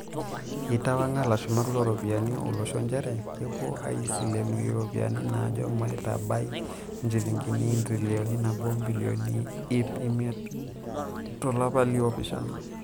Eitawanga lashumak looropiyiani olosho njere kepuo aisilenu iropiyani naajo matabai njilingini entirion nabo obilioni iip imiet to lapa liopishana.